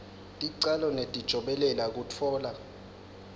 ticalo netijobelelo kutfola